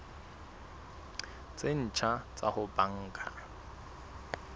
tse ntjha tsa ho banka